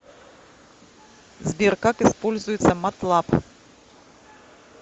сбер как используется матлаб